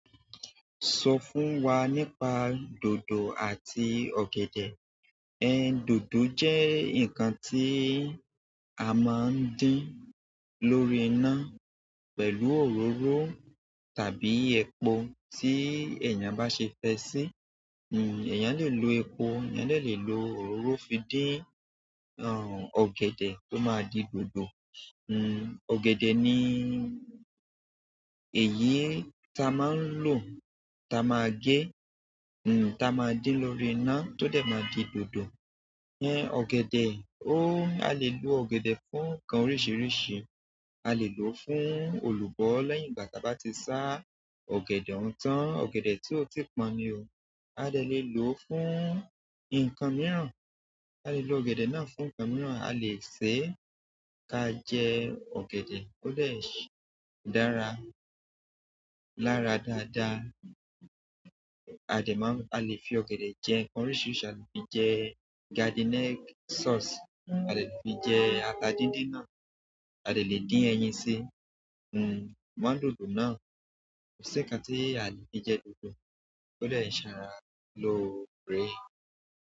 Sọ fún wa nípa dòdò àti ọ̀gẹ̀dẹ̀. Ẹ̀n dòdò jẹ́ nǹkan tí a máa ń dín lórí iná pẹ̀lú òróró tàbí epo tí èèyàn bá ṣe fe si hmm, èèyàn le lo epo, èèyàn dẹ lè lo òróró fi dín, àn, ọ̀gẹ̀dẹ̀ tó máa di dòdò. Hmm, ọ̀gẹ̀dẹ̀ ni èyí ta máa ń lò, ta máa gé, hmm ta máa dín lórí iná tó dẹ̀ má di dòdò. Ẹ̀n, ọ̀gẹ̀dẹ̀ ó, a lè lo ọ̀gẹ̀dẹ̀ fún nǹkan oríṣìíríṣìí. A lè lò ó fún olùbọ́ lẹ́yìn ìgbà tí a bá ti sá ọ̀gẹ̀dẹ̀ ọun tán, ọ̀gẹ̀dẹ̀ tí ó ti pọ́n ni o. A dẹ lè lo fún nǹkan mìíràn, a le lo ọ̀gẹ̀dẹ̀ náà fún nǹkan mìíràn. A lè ṣe ka jẹ ọ̀gẹ̀dẹ̀ o dẹ ṣé dára, lára dáadáa. A lè fi ọ̀gẹ̀dẹ̀ jẹ nǹkan oríṣìíríṣìí, a lè fi jẹ garden egg sauce, a lè fi jẹ ata dídín náà, a lè dín ẹyin sí, hmm, mọ dòdò náà. Kò sí nǹkan tí a lè fi jẹ dòdò tó dẹ saara lóore.